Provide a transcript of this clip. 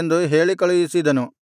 ಎಂದು ಹೇಳಿಕಳುಹಿಸಿದನು